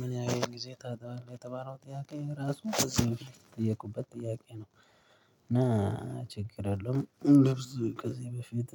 ምን ያህል ጊዜ ታጥባለህ የተባለው ጥያቄ ራሱ ጥያቄ ነው። እና ችግር አለው እንደርሱ ከዚህ በፊት